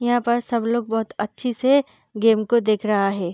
यहाँ पर सब लोग बहुत अच्छे से गेम को देख रहा है।